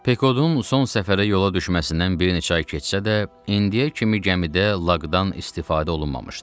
Pekodun son səfərə yola düşməsindən bir neçə ay keçsə də, indiyə kimi gəmidə laqdan istifadə olunmamışdı.